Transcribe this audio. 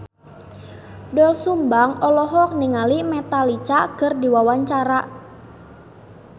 Doel Sumbang olohok ningali Metallica keur diwawancara